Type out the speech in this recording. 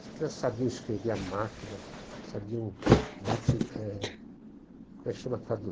As crianças sabiam escrever a máquina, sabiam dati, eh... Como é que chama?